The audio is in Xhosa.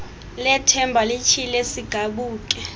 lethemba lityhile sigabuke